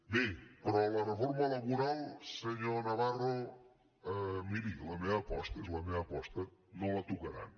bé però la reforma laboral senyor navarro miri és la meva aposta no la tocaran